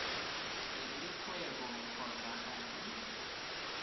le kgwebo kgotsa ga e